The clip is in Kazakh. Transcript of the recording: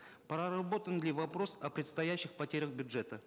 проработан ли вопрос о предстоящих потерях бюджета